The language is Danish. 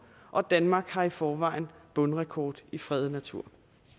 og danmark har i forvejen bundrekord i fredet natur